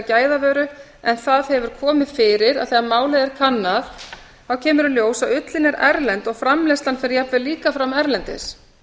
gæðavöru en það hefur komið fyrir að þegar málið er kannað kemur í ljós að ullin er erlend og framleiðslan fer jafnvel líka fram erlendis